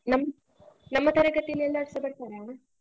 ನಮ್~ ನಮ್ಮ ತರಗತಿಯಲ್ಲಿ ಎಲ್ಲಾರ್ಸ ಬರ್ತಾರಾ?